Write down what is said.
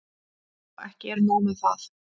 Og ekki er nóg með það.